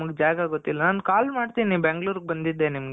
ನಮುಗ್ ಜಾಗ ಗೊತ್ತಿಲ್ಲ. ನಾನು call ಮಾಡ್ತಿನಿ ಬ್ಯಾಂಗಲೂರ್ಗೆ ಬಂದಿದ್ದೆ ನಿಮ್ಗೆ